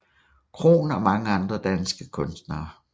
Krohn og mange andre danske kunstnere